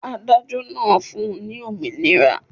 Adájọ́ náà fun ní òmìnira.